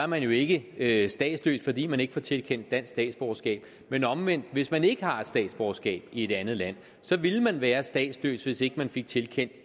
man jo ikke ikke statsløs fordi man ikke får tilkendt dansk statsborgerskab men omvendt hvis man ikke har et statsborgerskab i et andet land ville man være statsløs hvis ikke man fik tilkendt